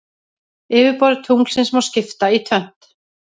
Yfirborði tunglsins má skipta í tvennt.